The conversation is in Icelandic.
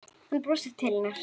Hann brosir til hennar.